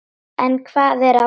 En hvað er að óttast?